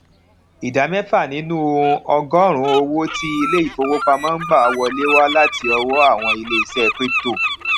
ìdá mẹfa nínú ọgọọrún owo ti ilé ìfowópamó n gbà wọlé wà láti ọwó àwọn ilé iṣẹ crypto